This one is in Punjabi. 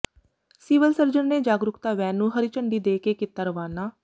ਸਿਵਲ ਸਰਜਨ ਨੇ ਜਾਗਰੂਕਤਾ ਵੈਨ ਨੂੰ ਹਰੀ ਝੰਡੀ ਦੇ ਕੇ ਕੀਤਾ ਰਵਾਨਾ